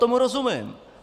Tomu rozumím.